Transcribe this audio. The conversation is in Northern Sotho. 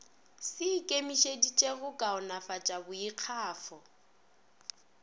se ikemišeditše go kaonafatša boikgafo